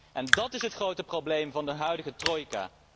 En dat is het grote probleem van de huidige trojka.